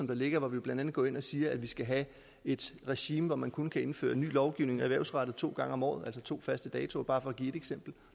der ligger hvor vi blandt andet går ind og siger at vi skal have et regime hvor man kun kan indføre ny lovgivning erhvervsrettet to gange om året altså to faste datoer bare for at give et eksempel